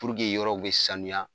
yɔrɔw be sanuya